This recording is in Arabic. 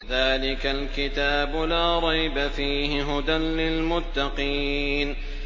ذَٰلِكَ الْكِتَابُ لَا رَيْبَ ۛ فِيهِ ۛ هُدًى لِّلْمُتَّقِينَ